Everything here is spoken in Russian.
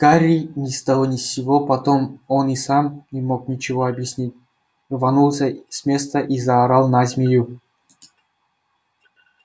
гарри ни с того ни с сего потом он и сам не мог ничего объяснить рванулся с места и заорал на змею